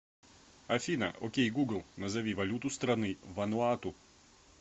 афина окей гугл назови валюту страны вануату